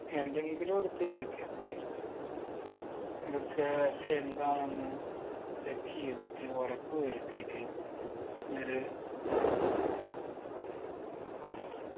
എന്തെങ്കിലു എടുത്ത് കുടിക്കാൻ നിക്കരുത് ഇതൊക്കെ എന്താണെന്ന് check യ്തിട്ട് ഒറപ്പ് വരുത്തീറ്റ് നിങ്ങള്